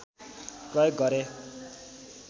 प्रयोग गरे